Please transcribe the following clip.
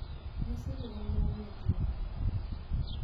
Nyasi ni en mar nyithindo,